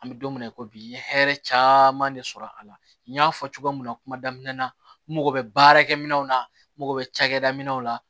An bɛ don min na i ko bi n ye hɛrɛ caman de sɔrɔ a la n y'a fɔ cogoya min na kuma daminɛ na n mago bɛ baarakɛminɛnw na n mago bɛ cakɛda min na